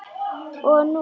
Og hún?